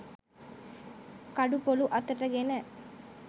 කඩු පොලු අතටගෙන